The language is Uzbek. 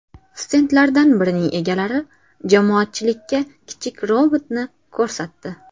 Stendlardan birining egalari jamoatchilikka kichik robotni ko‘rsatdi.